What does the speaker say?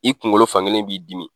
I kunkolo fan kelen b'i dimi.